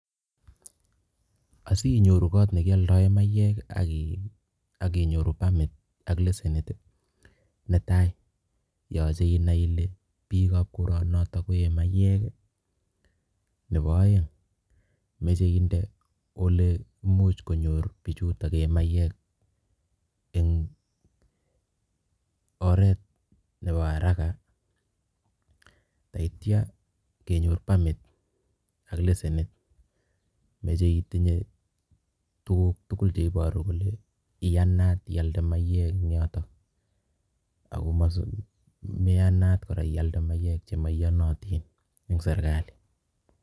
Osinyoru koot nekioldoen mayek ak inyoru pamit ak leshenit, netai yoche inaii ilee biikab koronoton koyee mayek, nebo oeng imoche inde olemuch konyor bichutok yee mayek en oreet nebo araka akityo kenyor pamit ak leshenit, moche itinye tukuk tukul cheboru kole iyanaat ialde mayek eng' yotok ako maiyanat kora ialde mayek chemoiyonotin en serikali.